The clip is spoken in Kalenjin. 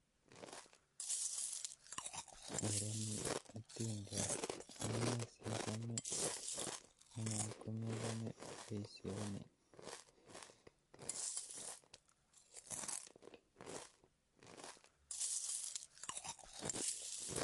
Ororun otindoniot amune sichome ala komechome boisioni